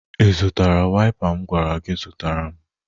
Ị zụtara waịpa m gwara gi zụtara m?